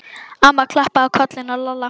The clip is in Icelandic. Amma klappaði á kollinn á Lalla.